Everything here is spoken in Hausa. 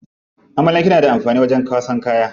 Amalanke na da amfani wajen kwasan kaya.